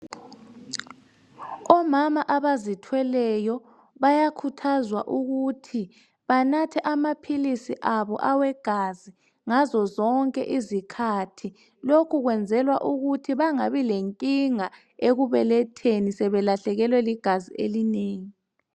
Omama abazithweleyo bayakhuthazwa ukuthi banathe amaphilisi abo awegazi ngazo zonke izikhathi. Lokho kwenzelwa ukuthi bangabi lenkinga ekubeletheni sebelahlekelwe ligazi elinengi.